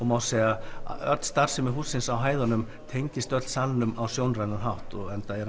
má segja að öll starfsemi hússins á hæðunum tengist öll salnum á sjónrænan hátt